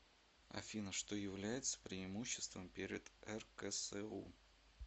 афина что является преимуществом перед рксу